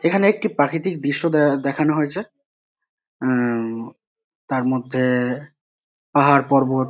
এখানে একটি প্রাকৃতিক দৃশ্য দে দেখানো হয়েছে আহ তার মধ্যে পাহাড় পর্বত।